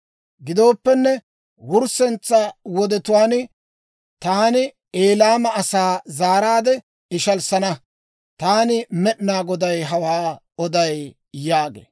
«Gidooppenne, wurssetsa wodetuwaan taani Elaama asaa zaaraadde ishalissana. Taani Med'inaa Goday hawaa oday» yaagee.